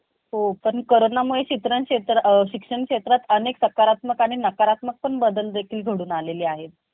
Okay sir ते मंग, ते आपण job चं ते send करा मला ते address तुम्ही. ते म mall चंच करून टाकतो मी. कसं मला जवळ पण पडणार माझ्याला जायला-यायला travels ला काई अडचण येणार नाई.